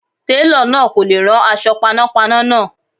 Télọ̀ náà kò lè rán aṣọ panápaná náà.